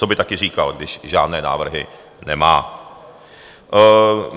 Co by taky říkal, když žádné návrhy nemá?